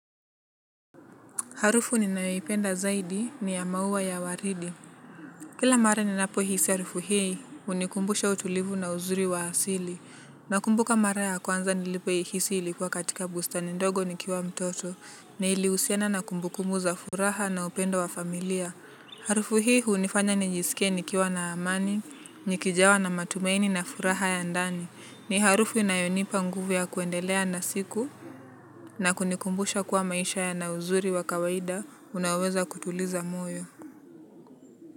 Harufu ninayoipenda zaidi ni ya maua ya waridi. Kila mara ninapohisi harufu hii, hunikumbusha utulivu na uzuri wa asili. Nakumbuka mara ya kwanza nilipoihisi ilikuwa katika bustani ndogo nikiwa mtoto. Na ilihusiana na kumbukumbu za furaha na upendo wa familia. Harufu hii hunifanya nijisikie nikiwa na amani, nikijawa na matumaini na furaha ya ndani. Ni harufu inayonipa nguvu ya kuendelea na siku. Na kunikumbusha kuwa maisha yana uzuri wa kawaida, unaoweza kutuliza moyo.